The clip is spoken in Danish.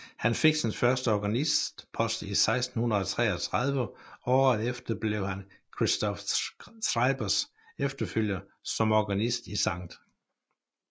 Han fik sin første organistpost i 1633 og året efter blev han Christoph Schreibers efterfølger som organist i Skt